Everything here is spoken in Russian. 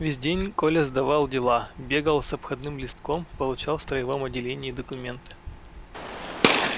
весь день коля сдавал дела бегал с обходным листком получал в строевом отделении документы